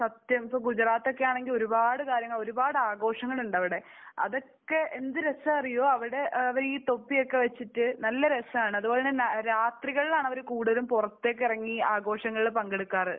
സത്യം. ഇപ്പോൾ ഗുജറാത്തൊക്കെയാണെങ്കിൽ ഒരുപാട് കാര്യങ്ങൾ ഒരുപാട് ആഘോഷങ്ങളുണ്ട് അവിടെ. അതൊക്കെ എന്ത് രാസമാണെന്നറിയുമോ. അവരുടെ ഈ തൊപ്പിയൊക്കെ വെച്ചിട്ട് നല്ല രസമാണ്. അതുപോലെ തന്നെ രാത്രികളിലാണ് അവർ കൂടുതലും പുറത്തേക്കിറങ്ങി ആഘോഷങ്ങളിൽ പങ്കെടുക്കാർ.